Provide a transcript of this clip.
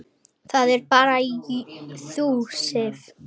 Það ert bara þú, Sif.